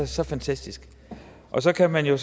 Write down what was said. så fantastisk så kan man jo